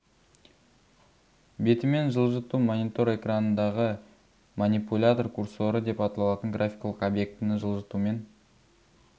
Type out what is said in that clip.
бетімен жылжыту монитор экранындағы манипулятор курсоры деп аталатын графикалық объектіні жылжытумен